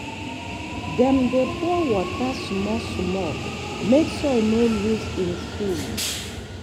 dem dey pour water small-small make soil no lose im food.